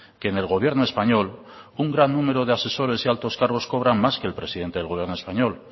que en el gobierno español un gran número de asesores y altos cargos cobran más que el presidente del gobierno español